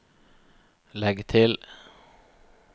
legg til